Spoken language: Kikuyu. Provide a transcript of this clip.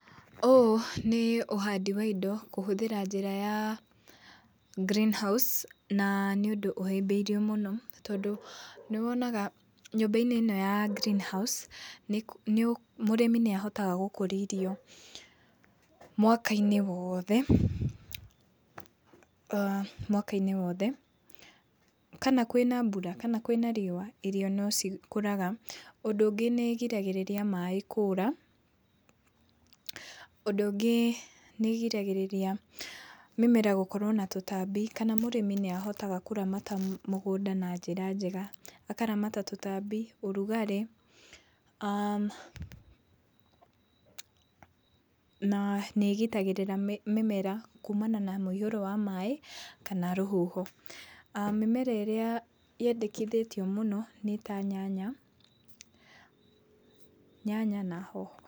Ũũ nĩ ũhandi wa indo kũhũthĩra njĩra ya greenhouse, na nĩ ũndũ ũhĩmbĩirio mũno, tondũ nĩwonaga nyũmba-inĩ ĩno ya greenhouse, mũrĩmi nĩahotaga gũkũria irio mwaka-inĩ woothe aah mwaka-inĩ woothe, kana kwĩna mbura kana kwĩna riũa, irio no cikũraga. Ũndũ ũngi nĩĩrigagĩrĩria maĩ kũra. Ũndũ ũngi nĩĩrigagĩrĩria mĩmera gũkorwo na tũtambi kana mũrĩmi nĩahotaga kũramata mũgũnda na njĩra njega. Akaramata tũtambi, ũrugarĩ aah na nĩĩgitagĩrĩra mĩmera kuumana na mũiyũro wa maĩ kana rũhuho mĩmera ĩrĩa yendekithĩtio mũno, nĩ ta nyanya, nyanya na hoho.